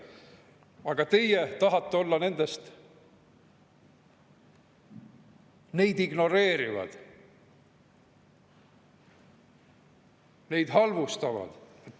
Aga teie tahate olla nende hulgas, kes neid ignoreerivad, neid halvustavad.